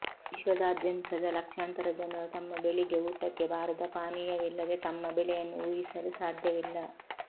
ವಿಶ್ವದಾದ್ಯಂತದ ಲಕ್ಷಾಂತರ ಜನರು ತಮ್ಮ ಬೆಳಿಗ್ಗೆ ಊಟಕ್ಕೆ ಬಾರದ ಪಾನೀಯವಿಲ್ಲದೆ ತಮ್ಮ ಬೆಳೆಯನ್ನು ಊಹಿಸಲು ಸಾಧ್ಯವಿಲ್ಲ